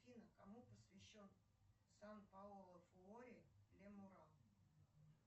афина кому посвящен сан паоло фуори ле мура